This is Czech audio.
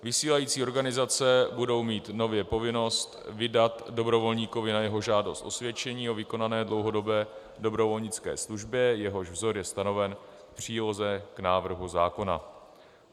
Vysílající organizace budou mít nově povinnost vydat dobrovolníkovi na jeho žádost osvědčení o vykonané dlouhodobé dobrovolnické službě, jehož vzor je stanoven v příloze k návrhu zákona.